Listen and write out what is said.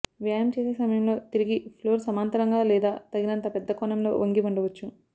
వ్యాయామం చేసే సమయంలో తిరిగి ఫ్లోర్ సమాంతరంగా లేదా తగినంత పెద్ద కోణంలో వంగి ఉండవచ్చు